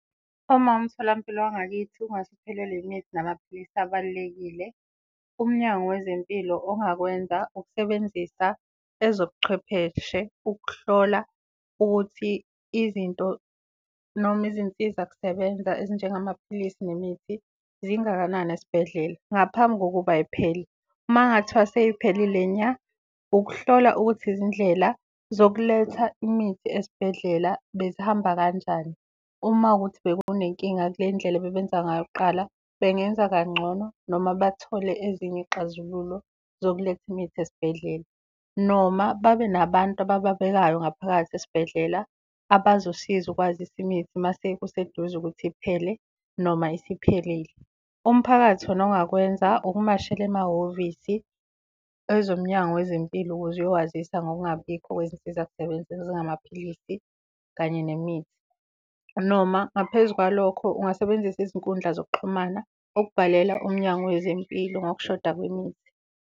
Uma umtholampilo wangakithi ungase uphelelwe imithi namaphilisi abalulekile, umnyango wezempilo ongakwenza ukusebenzisa ezobuchwepheshe ukuhlola ukuthi izinto noma izinsiza-kusebenza ezinjengamaphilisi nemithi zingakanani esibhedlela ngaphambi kokuba y'phele. Makungathiwa sey'phelile nya, ukuhlola ukuthi izindlela zokuletha imithi esibhedlela bezihamba kanjani. Uma wukuthi bekunenkinga kule indlela ebebenza ngayo kuqala, bengenza kangcono noma bathole ezinye iy'xazululo zokuletha imitha esibhedlela, noma babe nabantu abababekayo ngaphakathi esibhedlela abazosiza ukwazisa imitha mase kuseduze ukuthi iphele noma isiphelile. Umphakathi wona ongakwenza ukumashela emahhovisi ezomnyango wezempilo ukuze uyowazisa ngokungabibikho kwezinsiza-kusebenza ezingamaphilisi, kanye nemithi. Noma ngaphezu kwalokho ungasebenzisa izinkundla zokuxhumana ukubhalela umnyango wezempilo ngokushoda kwemithi.